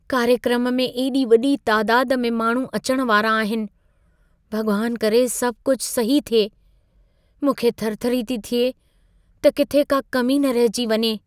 कार्यक्रम में एॾी वॾी तादाद में माण्हू अचण वारा आहिनि। भॻवान करे सभु कुझु सही थिए। मूंखे थरथरी थी थिए त किथे का कमी न रहिजी वञे।